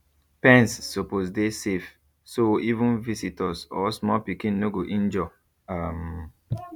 pens suppose dey safe so even visitors or small pikin no go injure um